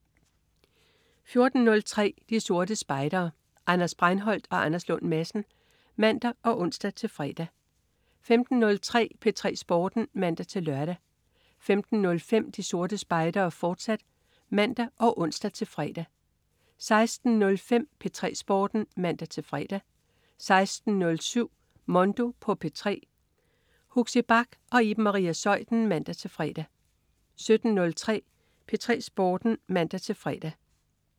14.03 De Sorte Spejdere. Anders Breinholt og Anders Lund Madsen (man og ons-fre) 15.03 P3 Sporten (man-lør) 15.05 De Sorte Spejdere, fortsat (man og ons-fre) 16.05 P3 Sporten (man-fre) 16.07 Mondo på P3. Huxi Bach og Iben Maria Zeuthen (man-fre) 17.03 P3 Sporten (man-fre)